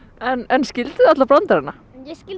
en skilduð þið alla brandarana ég skildi